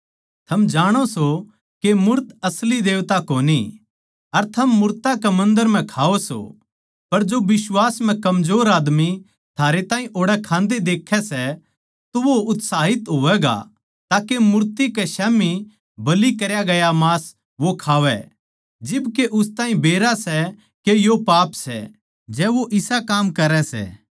थम जाणो सों के मूर्त असली देवता कोनी अर थम मूरतां के मन्दर म्ह खाओ सों पर जो बिश्वास म्ह कमजोर आदमी थारे ताहीं ओड़ै खान्दे देखै सै तो वो उत्साहित होवैगा ताके मूर्ति के स्याम्ही बलि करया गया मांस वो खावै जिब के उस ताहीं बेरा सै के यो पाप सै जै वो इसा काम करै सै